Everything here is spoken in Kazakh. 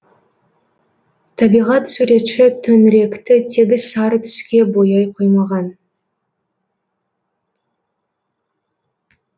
табиғат суретші төңіректі тегіс сары түске бояй қоймаған